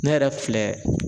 Ne yɛrɛ filɛ.